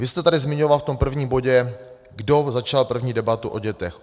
Vy jste tady zmiňoval v tom prvním bodě, kdo začal první debatu o dětech.